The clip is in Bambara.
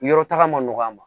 Yɔrɔ taga man nɔgɔ a ma